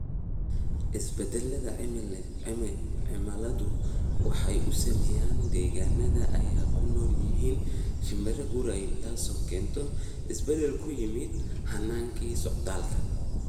Isbeddelka cimiladu waxa uu saameeyaa degaannada ay ku nool yihiin shinbiraha guuray, taas oo keenta isbeddel ku yimaadda hannaankii socdaalka.